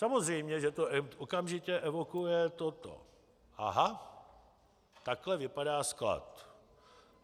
Samozřejmě že to okamžitě evokuje toto: aha, takhle vypadá sklad.